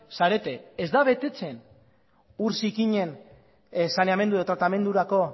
zarete ez da betetzen ur zikinen saneamendu edo tratamendurako